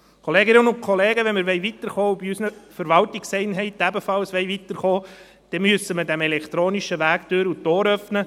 Kolleginnen und Kollegen, wenn wir auch bei unseren Verwaltungseinheiten weiterkommen wollen, müssen wir dem elektronischen Weg Tür und Tor öffnen.